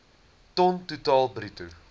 ton totaal bruto